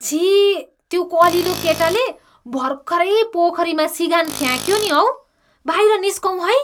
छिः! त्यो कलिलो केटाले भर्खरै पोखरीमा सिँगान फ्याँक्यो नि हौ। बाहिर निस्कौँ है।